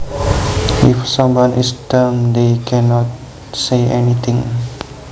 If someone is dumb they can not say anything